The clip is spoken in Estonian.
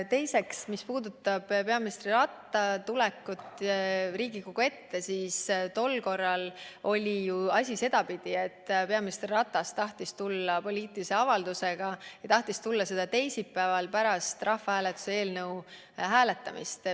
Teiseks, mis puudutab peaminister Ratase tulekut Riigikogu ette, siis tol korral oli ju asi sedapidi, et peaminister Ratas tahtis siia tulla poliitilise avaldusega, tahtis tulla siia teisipäeval pärast rahvahääletuse eelnõu hääletamist.